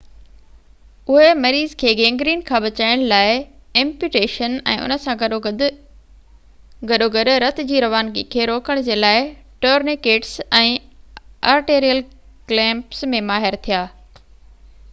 اهي مريض کي گينگرين کان بچائڻ لاءِ ايمپيوٽيشن ۽ ان سان گڏوگڏ رت جي روانگي کي روڪڻ جي لاءِ ٽورنيڪيٽس ۽ آرٽيريل ڪليمپس ۾ ماهر ٿيا